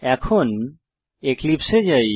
এখন এক্লিপসে এ যাই